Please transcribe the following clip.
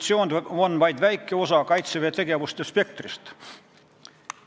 See on vaid väike osa Kaitseväe tegevuste spektrist.